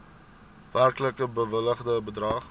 werklik bewilligde bedrag